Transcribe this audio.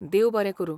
देव बरें करूं!